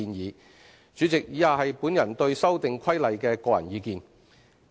代理主席，以下是我對《修訂規例》的個人意見。